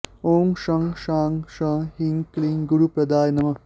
ॐ शं शां षं ह्रीं क्लीं गुरुप्रदाय नमः